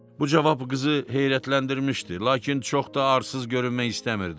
Bu cavab qızı heyrətləndirmişdi, lakin çox da arsız görünmək istəmirdi.